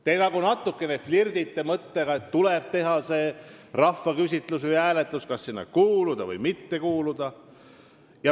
Te nagu natuke flirdite mõttega, et tuleb teha rahvaküsitlus või -hääletus, kas sinna kuuluda või mitte kuuluda.